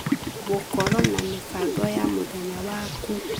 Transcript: Gũkorwo na mĩbango ya mũthenya waku.